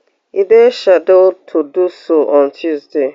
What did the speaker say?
e dey scheduled to do so on tuesday